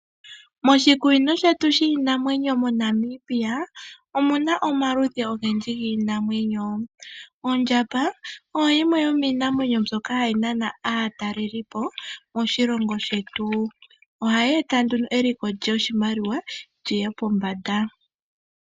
Moshikunino shetu shiinamwnyo moNamibia omuna omaludhi ogendji giinamwenyo ondjamba oyo yimwe yomiinamwenyo mbyoka hayi naana aatalelipo moshilongo shetu ohayeeta nduno eliko lyoshimaliwa lyiye pombanda.